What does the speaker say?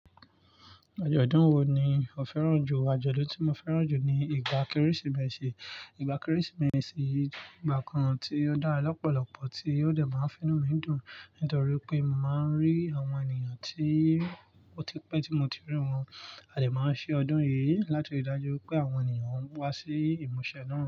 Ajọdún wo ni o fẹ́ràn jù? Àjọ̀dún tí mo fẹ́ràn jù ni ìgbà Kérésìmesì. Ìgbà Kérésìmesì ni ìgbà kan tí ó dára lọ́pọ̀lọ́pọ̀ tí ó de máa ń fú nu mí dùn nítorí pé mo máa ń rí àwọn ènìyàn tí ó ti pẹ́ tí mo ti rí wọn. A dè máa ń ṣe ọdún yìí láti ri dájú wipé àwọn ènìyàn ń wá sí ìmúṣẹ náà.